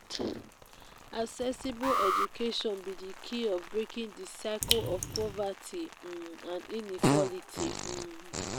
accessible education be di key of breaking di cycle of poverty um and inequality. um